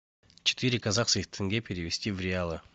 четыре казахских тенге перевести в реалы